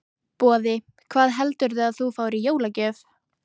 Boði: Hvað heldurðu að þú fáir í jólagjöf?